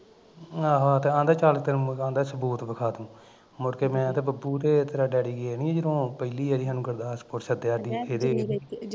ਆਹੋ ਆਹੋ ਤੇ ਐਂਦਾ ਸੀ ਚੱਲ ਤੈਨੂੰ ਮੈਂ ਸਬੂਤ ਵਿਖਾ ਦਊ, ਮੁੜ ਕੇ ਮੈਂ ਤੇ ਬੱਬੂ ਤੇ ਤੇਰਾ ਡੈਡੀ ਗਏ ਨੀ ਸੀ ਜੱਦੀ ਪਹਿਲੀ ਵਾਰੀ ਸੱਦਿਆ ਸੀ ਸਾਨੂੰ ਗੁਰਦਾਸਪੁਰ ਸੱਦਿਆ